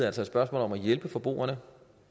altså et spørgsmål om at hjælpe forbrugerne